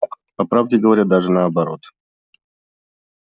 по правде говоря даже наоборот